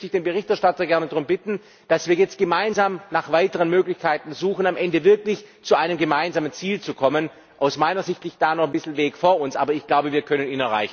Deswegen möchte ich den Berichterstatter gerne darum bitten, dass wir jetzt gemeinsam nach weiteren Möglichkeiten suchen, um am Ende wirklich zu einem gemeinsamen Ziel zu kommen. Aus meiner Sicht liegt da noch ein bisschen Weg vor uns, aber ich glaube, wir können es